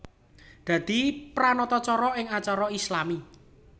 Dadi pranatacara ing acara islami